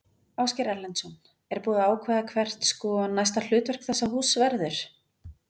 Ásgeir Erlendsson: Er búið að ákveða hvert, sko, næsta hlutverk þessa húss verður?